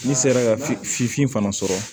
N'i sera ka f fiin fana sɔrɔ